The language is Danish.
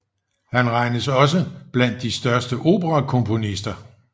Han regnes også blandt de største operakomponister